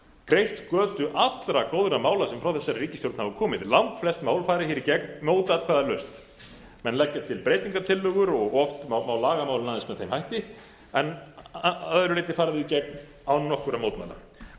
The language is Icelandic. greitt götu allra góðra mála sem frá þessari ríkisstjórn hafa komið langflest mál farið hér í gegn mótatkvæðalaust menn leggja til breytingartillögur og oft má laga málin aðeins með þeim hætti en að öðru leyti fara þau í gegn án nokkurra mótmæla